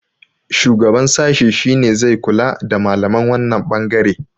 shugaban sashi shi ne zai kula da malaman wannan bangare